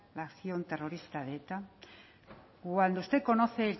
la acción terrorista de eta cuando usted conoce